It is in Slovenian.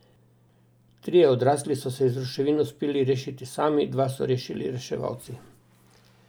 Trije odrasli so se iz ruševin uspeli rešiti sami, dva so rešili reševalci.